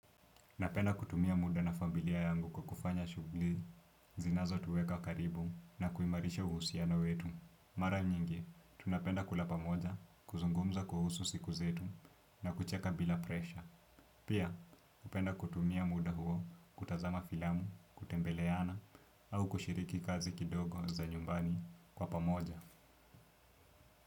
Napenda kutumia muda na familia yangu kwa kufanya shugli, zinazo tuweka karibu na kuimarisha uhusiano wetu. Mara nyingi, tunapenda kula pamoja, kuzungumza kuhusu siku zetu na kucheka bila presha. Pia, upenda kutumia muda huo kutazama filamu, kutembeleana au kushiriki kazi kidogo za nyumbani kwa pamoja.